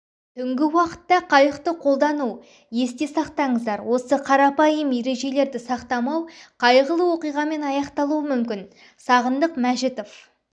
түңгі уақытта қайықты қолдану есте сақтаңыздар осы қарапайым ережелерді сақтамау қайғылы оқиғамен аяқталуы мүмкін сағындық мәжітов